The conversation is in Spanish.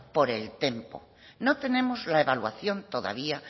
por el tempo no tenemos la evaluación todavía